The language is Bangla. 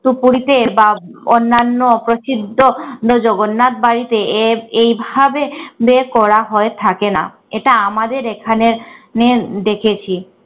সুপুরিতে বা উম অন্যান্য অপ্রসিদ্ধ জগন্নাথ বাড়িতে এ~ এইভাবে বের করা হয় থাকে না। এটা আমাদের এখানের এর দেখেছি